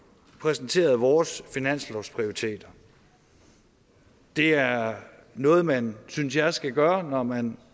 præsenteret vores finanslovsprioriteter det er noget man synes jeg skal gøre når man